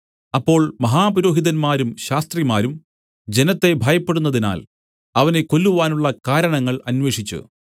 അപ്പോൾ മഹാപുരോഹിതന്മാരും ശാസ്ത്രിമാരും ജനത്തെ ഭയപ്പെടുന്നതിനാൽ അവനെ കൊല്ലുവാനുള്ള കാരണങ്ങൾ അന്വേഷിച്ചു